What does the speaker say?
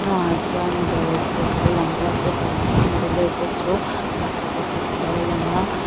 a hnungah chuan dawr te lo lang bawk a chutah chuan bullet a thu mipa khat alo lang a.